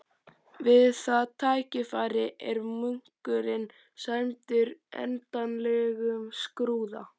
Við það tækifæri er munkurinn sæmdur endanlegum skrúða.